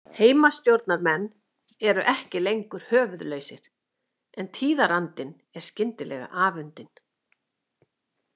Heimastjórnarmenn eru ekki lengur höfuðlausir en tíðarandinn er skyndilega afundinn.